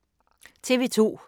TV 2